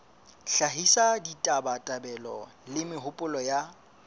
hlahisa ditabatabelo le mehopolo ya